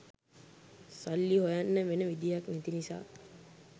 සල්ලි හොයන්න වෙන විදිහක් නැති නිසා